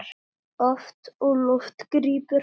Oft á lofti grípum hann.